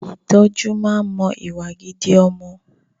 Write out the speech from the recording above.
Ìtọ́jú máa ń mọ àwọn ìwà gidi ọmọ